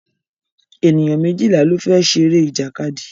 Ènìyàn méjìlá ló fẹ́ ṣeré ìjàkadì